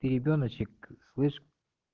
и ребёночек слышь